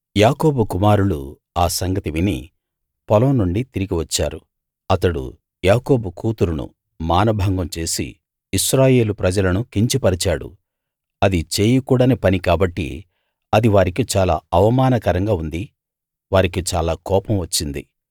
యాకోబు కుమారులు ఆ సంగతి విని పొలం నుండి తిరిగి వచ్చారు అతడు యాకోబు కూతురును మానభంగం చేసి ఇశ్రాయేలు ప్రజలను కించపరిచాడు అది చేయకూడని పని కాబట్టి అది వారికి చాలా అవమానకరంగా ఉంది వారికి చాలా కోపం వచ్చింది